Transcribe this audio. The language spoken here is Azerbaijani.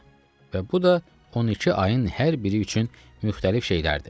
Və bu da 12 ayın hər biri üçün müxtəlif şeylərdir.